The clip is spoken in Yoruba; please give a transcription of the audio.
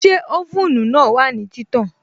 Ṣé oven náà wà ní títàn?